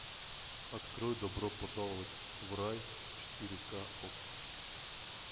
открой добро пожаловать в рай четыре ка окко